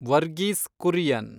Varghese Kurian